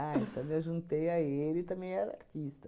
Ah, então eu me ajuntei a ele e também era artista.